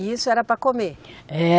E isso era para comer?